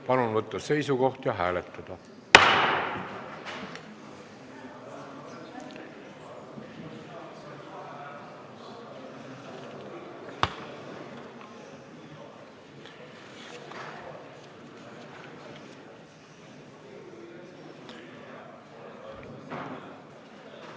Palun võtta seisukoht ja hääletada!